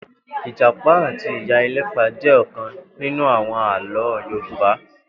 Ijàpá àtí iyá elëpà jè òkãn ninú áwòn àlõ yoruba